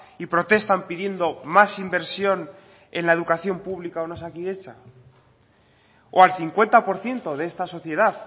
y protestan pidiendo más inversión en la educación pública o en osakidetza o al cincuenta por ciento de esta sociedad